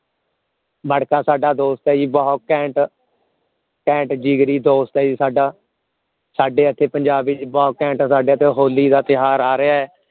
ਮਟਕਾ ਸਾਡਾ ਦੋਸਤ ਹੈ ਜੀ ਬਹੁਤ ਘੈਂਟ ਘੈਂਟ ਜਿਗਰੀ ਦੋਸਤ ਹੈ ਜੀ ਸਾਡਾ ਸਾਡੇ ਇਥੇ ਪੰਜਾਬ ਵਿਚ ਬਹੁਤ ਘੈਂਟ ਸਾਡੇ ਜੋ ਹੋਲੀ ਕਾ ਤਿਓਹਾਰ ਆ ਰਿਹਾ ਹੈ